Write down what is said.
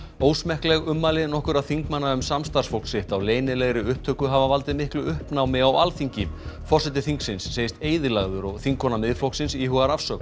ósmekkleg ummæli nokkurra þingmanna um samstarfsfólk sitt á leynilegri upptöku hafa valdið miklu uppnámi á Alþingi forseti þingsins segist eyðilagður og þingkona Miðflokksins íhugar afsögn